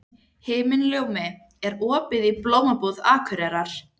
Himinljómi, er opið í Blómabúð Akureyrar?